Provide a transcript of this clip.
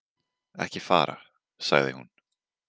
Ekki fara, sagði hún.